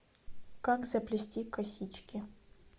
как заплести косички